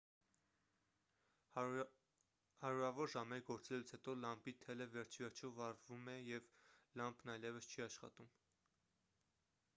հարյուրավոր ժամեր գործելուց հետո լամպի թելը վերջիվերջո վառվում է և լամպն այևս չի աշխատում